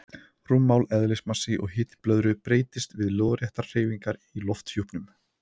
Rúmmál, eðlismassi og hiti blöðru breytast við lóðréttar hreyfingar í lofthjúpnum.